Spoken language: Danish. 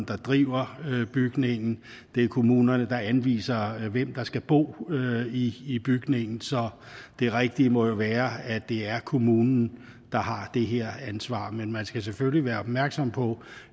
der driver bygningen det er kommunen der anviser hvem der skal bo i i bygningen så det rigtige må jo være at det er kommunen der har det her ansvar men man skal selvfølgelig være opmærksom på